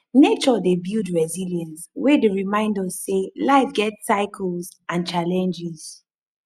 nature dey build resilience wey dey remind us sey life get cycles and challenges